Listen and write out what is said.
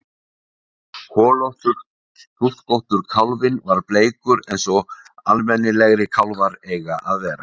Holur hnúskóttur kálfinn var bleikur eins og almennilegir kálfar eiga að vera